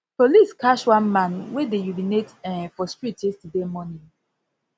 police catch one man wey dey urinate um for street yesterday morning